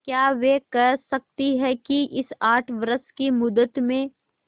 क्या वे कह सकती हैं कि इस आठ वर्ष की मुद्दत में